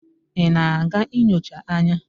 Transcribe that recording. ị na-aga nyocha anya?